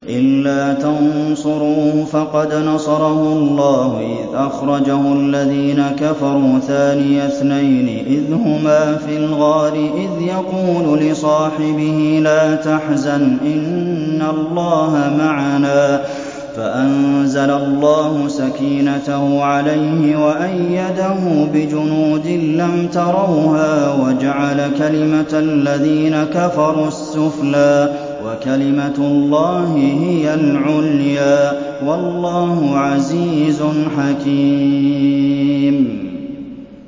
إِلَّا تَنصُرُوهُ فَقَدْ نَصَرَهُ اللَّهُ إِذْ أَخْرَجَهُ الَّذِينَ كَفَرُوا ثَانِيَ اثْنَيْنِ إِذْ هُمَا فِي الْغَارِ إِذْ يَقُولُ لِصَاحِبِهِ لَا تَحْزَنْ إِنَّ اللَّهَ مَعَنَا ۖ فَأَنزَلَ اللَّهُ سَكِينَتَهُ عَلَيْهِ وَأَيَّدَهُ بِجُنُودٍ لَّمْ تَرَوْهَا وَجَعَلَ كَلِمَةَ الَّذِينَ كَفَرُوا السُّفْلَىٰ ۗ وَكَلِمَةُ اللَّهِ هِيَ الْعُلْيَا ۗ وَاللَّهُ عَزِيزٌ حَكِيمٌ